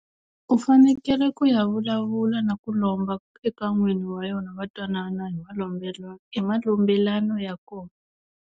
U fanekele ku ya vulavula na ku lomba eka n'wini wa yona va twanana hi malombelo hi malombelano ya kona.